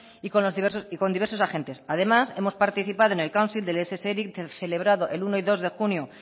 y con diversos agentes además hemos participado en el council del ess eric celebrado el uno y dos de junio